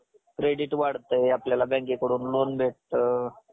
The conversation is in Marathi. credit वाढतंय आपल्याला bankकडून loan भेटतं.